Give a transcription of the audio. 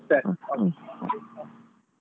ಸರಿ okay .